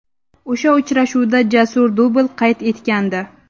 O‘sha uchrashuvda Jasur dubl qayd etgandi.